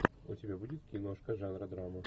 у тебя будет киношка жанра драма